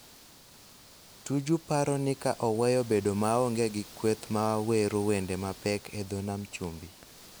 Tuju paro ni ka oweyo bedo maonge gi kweth ma wero wende mapek e dho nam chumbi,